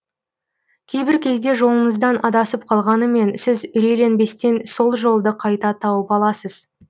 кейбір кезде жолыңыздан адасып қалғанымен сіз үрейленбестен сол жолды қайта тауып аласыз